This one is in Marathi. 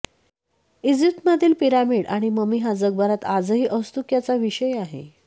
इजिप्तमधील पिरॅमिड आणि ममी हा जगभरात आजही औत्सुक्याचा विषय आहे